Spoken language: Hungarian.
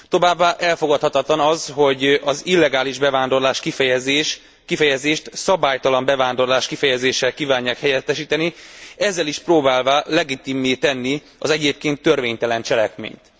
Továbbá elfogadhatatlan az, hogy az illegális bevándorlás kifejezést szabálytalan bevándorlás kifejezéssel kívánják helyettesíteni, ezzel is próbálván legitimmé tenni az egyébként törvénytelen cselekményt.